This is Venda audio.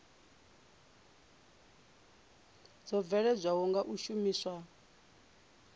dzo bveledzwaho nga u shumiswa